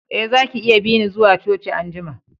Eh, zaki iya bi ni zuwa coci an'jumma.